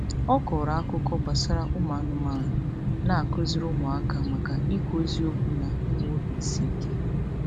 Ọ kọrọ otu akụkọ gbasara ụmụanụmanụ na-akụziri ụmụaka maka ịkwụ eziokwu na inwe obiisiike.